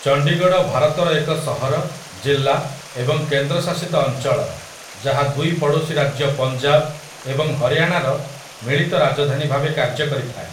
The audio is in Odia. ଚଣ୍ଡିଗଡ଼ ଭାରତର ଏକ ସହର, ଜିଲ୍ଲା, ଏବଂ କେନ୍ଦ୍ରଶାସିତ ଅଞ୍ଚଳ ଯାହା ଦୁଇ ପଡ଼ୋଶୀ ରାଜ୍ୟ ପଞ୍ଜାବ ଏବଂ ହରିୟାଣାର ମିଳିତ ରାଜଧାନୀ ଭାବେ କାର୍ଯ୍ୟ କରିଥାଏ ।